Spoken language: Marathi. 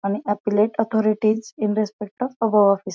आणि appellate authorities in respect of above office.